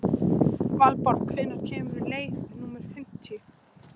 Valborg, hvenær kemur leið númer fimmtíu?